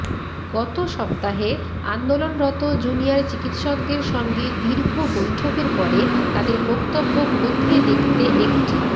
গত সপ্তাহে আন্দোলনরত জুনিয়র চিকিৎসকদের সঙ্গে দীর্ঘ বৈঠকের পরে তাঁদের বক্তব্য খতিয়ে দেখতে একটি